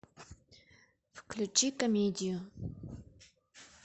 включи комедию